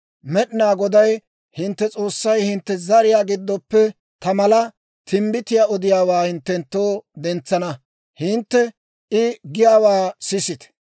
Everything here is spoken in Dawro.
Med'inaa Goday hintte S'oossay, hintte zariyaa giddoppe, ta mala timbbitiyaa odiyaawaa hinttenttoo dentsana. Hintte I giyaawaa sisite.